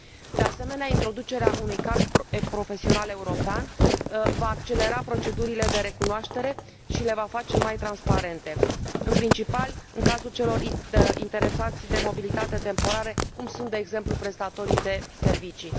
De asemenea, introducerea unui card profesional european va accelera procedurile de recunoaștere și le va face mai transparente, în principal în cazul celor interesați de mobilitatea temporară, cum sunt, de exemplu, prestatorii de servicii.